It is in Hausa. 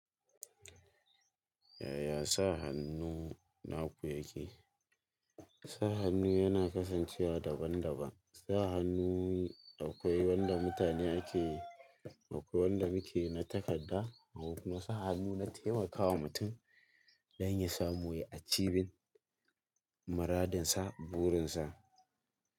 Yaya sa hannu naku yake? Sa hannu yana kasancewa daban daban. Sa hannu akwai wanda mutane ake, akwai wanda muke na takadda. Akwai kuma sa hannu na taimaka wa mutum don ya samu ya acivin maradinsa, burinsa.